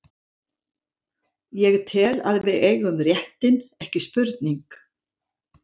Ég tel að við eigum réttinn, ekki spurning.